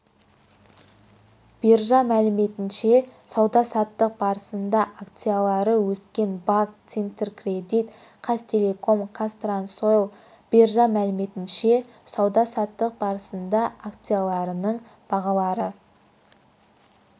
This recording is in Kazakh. биржа мәліметінше сауда-саттық барысында акциялары өскендер банк центркредит қазақтелеком қазтрансойл биржа мәліметінше сауда-саттық барысында акцияларының бағалары